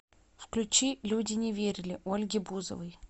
включи люди не верили ольги бузовой